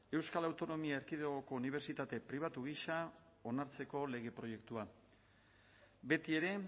euskal autonomia erkidegoko unibertsitate pribatu gisa onartzeko lege proiektua betiere